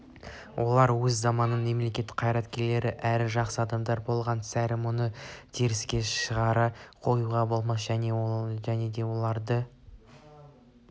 олар өз заманының мемлекет қайраткерлері әрі жақсы адамдар болған сірә мұны теріске шығара қоюға болмас және де оларды